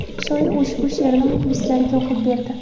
Shoir ushbu she’rini muxlislariga o‘qib berdi.